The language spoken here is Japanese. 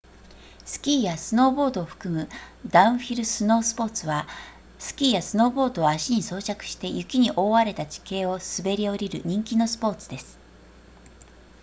スキーやスノーボードを含むダウンヒルスノースポーツはスキーやスノーボードを足に装着して雪に覆われた地形を滑り降りる人気のスポーツです